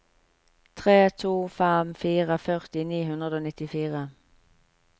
tre to fem fire førti ni hundre og nittifire